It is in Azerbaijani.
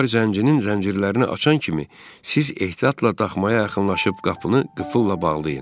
Onlar zəncinin zəncirlərini açan kimi, siz ehtiyatla daxmaya yaxınlaşıb qapını qıfılla bağlayın.